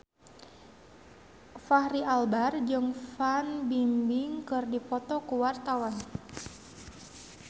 Fachri Albar jeung Fan Bingbing keur dipoto ku wartawan